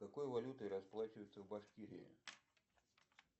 какой валютой расплачиваются в башкирии